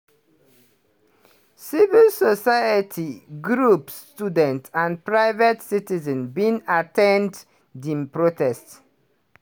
civil society groups students and private citizens bin at ten d di protest.